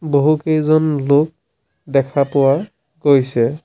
বহুকেইজন লোক দেখা পোৱা গৈছে।